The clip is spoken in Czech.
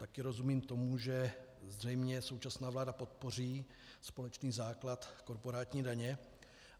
Také rozumím tomu, že zřejmě současná vláda podpoří společný základ korporátní daně.